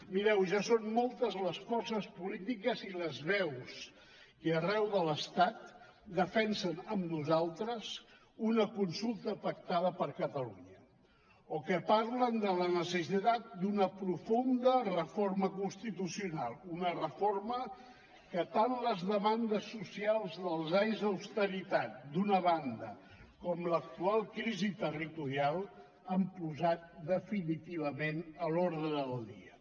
mireu ja són moltes les forces polítiques i les veus que arreu de l’estat defensen amb nosaltres una consulta pactada per catalunya o que parlen de la necessitat d’una profunda reforma constitucional una reforma que tant les demandes socials dels anys d’austeritat d’una banda com l’actual crisi territorial han posat definitivament a l’ordre del dia